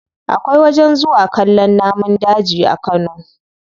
Akwai wajen zuwa kallon namun daji a kano.